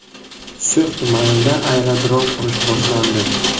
So‘x tumanida aerodrom qurish boshlandi.